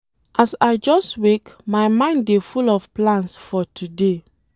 As I just wake, my mind dey full of plans for today.